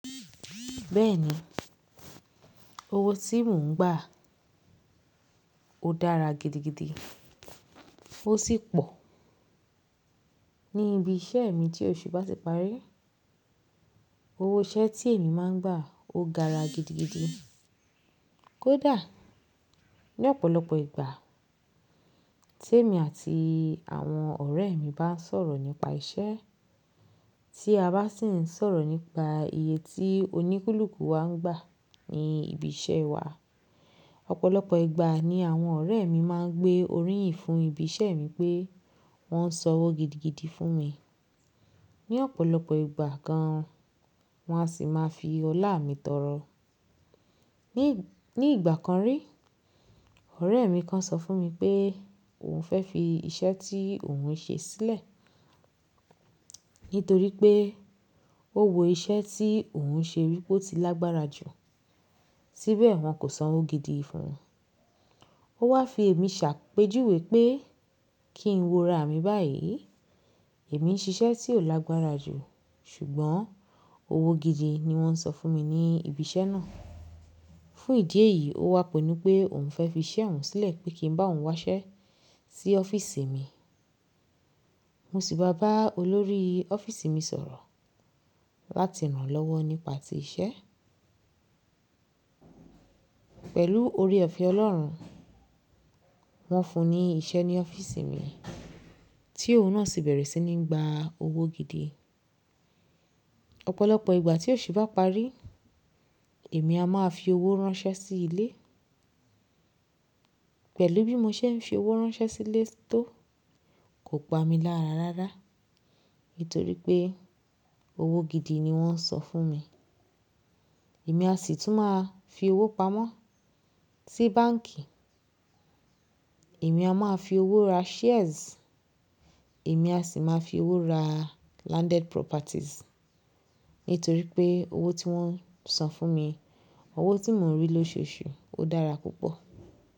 Bẹ́ẹ̀ni, owó tí mò ń gbà ó dára gidigidi, ó sì pọ̀. Ní ibi iṣẹ́ mi tí òṣù bá ti parí, owó iṣẹ́ tí èmi máa ń gbà ó gaara gidigidi. Kódà ní ọ̀pọ̀lọpọ̀ ìgbà tí èmi àti àwọn ọ̀rẹ́ mi bá ń sọ̀rọ̀ nípa iṣẹ́, tí a bá sì ń sọ̀rọ̀ nípa iye tí oníkùluku wa ń gbà ní ibi iṣẹ́ wa, ọ̀pọ̀lọpọ̀ ìgbà ni àwọn ọ̀rẹ́ mi máa ń gbé oríyìn fún ibi iṣẹ́ mi pé wọ́n ń san owó gidigidi fún mi. Ní ọ̀pọ̀lọpọ̀ ìgbà gan, wọ́n á sì máa fi ọlá mi tọrọ. Ní ìgbà kan rí, ọ̀rẹ́ mi kan sọ fún mi pé òun fẹ́ fi iṣẹ́ tí òun ń ṣe sílẹ̀ nítorí pé ó wo iṣẹ́ tí òun ń ṣe wípé ó ti lágbára jù, sibẹ̀ wọ́n kò san owó gidi fún un. Ó wá fi èmi ṣàpèjúwé pé kí n wo ra mi báyìí. Èmi ń ṣiṣẹ́ tí ó lágbára jù ṣùgbọ́n owó gidi ni wọ́n ń san fún mi ní ibi iṣẹ́ náà. Fún ìdí èyí, ó wá pinnu pé òun fẹ́ fi iṣẹ́ òun sílẹ̀ pé kí n bá òun wáṣẹ́ sí ọ́fíìsì mi. Mo sì bá ọlọ́rí ọ́fíìsì mi sọ̀rọ̀ láti rànlọ́wọ́ nípa ti iṣẹ́. Pẹ̀lú oore ọ̀fẹ́ Ọlọ́run, wọ́n fún ni iṣẹ́ ní ọ́fíìsì mi tí òun náà sì bẹ̀rẹ̀ sí ní gbà owó gidi. Ọ̀pọ̀lọpọ̀ ìgbà tí òṣù bá parí, èmi a máa fi owó ránṣẹ́ sí ilé. Pẹ̀lú bí mo ṣe ń fi owó ránṣẹ́ sí ilé tó kò pa mi lára rárá nítorí pé owó gidi ni wọ́n ń san fún mi. Èmi á sì tún máa fi owó pamọ́ sí báǹkì, èmi a máa fi owó ra shares, èmi á sì máa fi owó ra landed properties nítorí pé owó tí wọ́n ń san fún mi, owó tí mò ń rí lóṣooṣù ó dára púpọ̀.